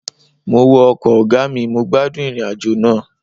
Mo wọ ọkọ̀ ọgá mi, mo gbádùn ìrìn àjò náà